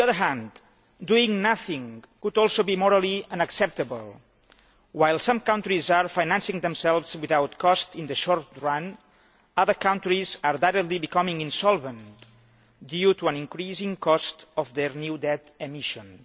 On the other hand, doing nothing could also be morally unacceptable. While some countries are financing themselves without cost in the short run, other countries are rapidly becoming insolvent due to the increasing cost of their new debt issues.